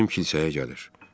O bizim kilsəyə gəlir.